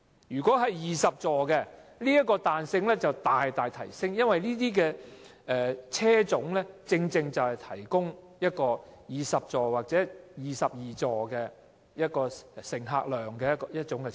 如果有20個座位的小巴，這個彈性更會大大提升，因為這類車種能夠提供20座或22座的載客量。